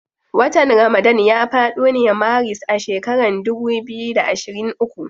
Watan ramadana ya fado ne maris a shekaran dubu biyu da ashirin uku.